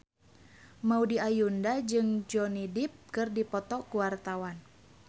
Maudy Ayunda jeung Johnny Depp keur dipoto ku wartawan